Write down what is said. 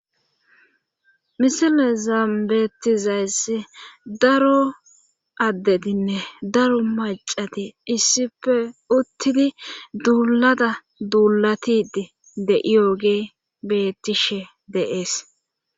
misile zaambetizays daro addedinne daro macati issife uttidi duuulada duulatidi deiyogee bettishe deees